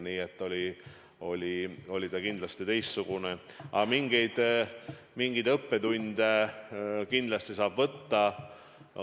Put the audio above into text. Nii et kriis oli kindlasti teistsugune, aga mingeid õppetunde sealt kindlasti saab võtta.